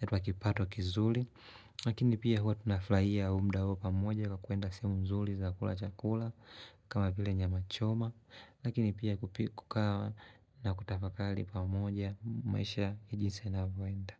yatatoa kipato kizuli lakini pia huwa tunafurahia mda huo pamoja kwa kuenda sehemu nzuli za kula chakula kama vile nyama choma lakini pia kupika na kutafakali pamoja maisha jinsi yanavoenda.